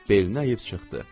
Belini əyib çıxdı.